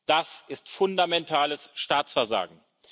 Das ist fundamentales Staatsversagen!